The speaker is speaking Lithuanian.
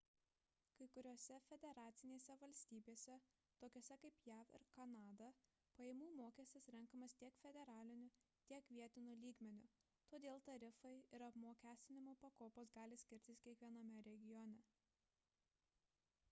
kai kuriose federacinėse valstybėse tokiose kaip jav ir kanada pajamų mokestis renkamas tiek federaliniu tiek vietiniu lygmeniu todėl tarifai ir apmokestinimo pakopos gali skirtis kiekviename regione